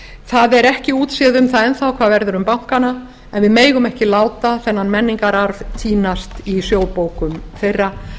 það er ekki útséð um það enn þá hvað verður um bankana en við megum ekki láta þennan menningararf týnast í sjóðbókum þeirra